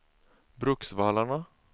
Bruksvallarna